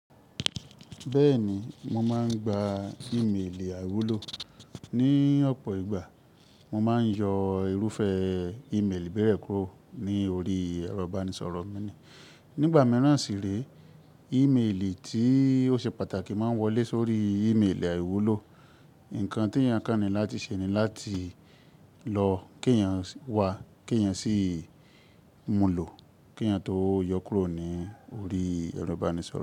Bẹ́ẹ̀ni, mo máa ń gba ìmeèlì àìwúlò. Ni ọ̀pọ̀ ìgbà, mo máa ń yọ irúfẹ́ ìmeèlì bẹ́ẹ̀ kúrò ní orí ẹ̀rọ ìbánisọ̀rọ̀ mi ni. Nígbà mìíràn sì re ìmeèlì tí ó ṣe pàtàkì máa ń wọlé sórí ìmeèlì àìwúlò. Ǹkan tí èèyàn kánni láti ṣe ni láti lọ kí èèyàn wà, kí èèyàn sì mú lọ, kí èèyàn tó yọ kúrò ní orí ẹ̀rọ ìbánisọ̀rọ̀